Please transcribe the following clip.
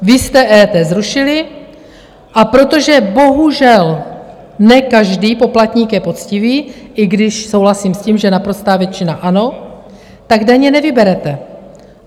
Vy jste EET zrušili, a protože bohužel ne každý poplatník je poctivý, i když souhlasím s tím, že naprostá většina ano, tak daně nevyberete.